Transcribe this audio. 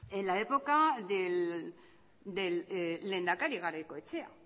en la época del lehendakari garaikoetxea